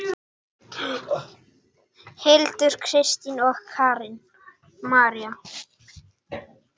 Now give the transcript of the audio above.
Hildur, Kristín og Karen María.